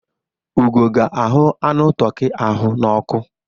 Ugo ga-ahu anụ toki ahụ n'ọkụ.